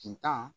Kin tan